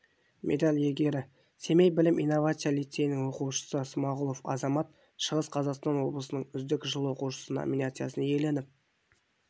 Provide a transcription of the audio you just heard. медаль иегері семей білім-инновация лицейінің оқушысысмағұлов азамат шығыс қазақстан облысының үздік жыл оқушысы номинациясын иеленіп